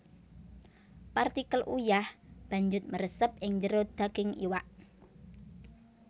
Partikel uyah banjut mresep ing jero daging iwak